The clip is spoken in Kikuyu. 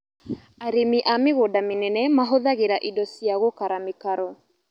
Arĩmi a mĩgũnda mĩnene mahũthagĩra indo cia gũkara mĩkaro